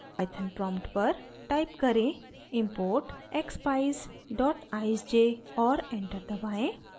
python prompt पर: type करें import expeyes eyesj और एंटर दबाएँ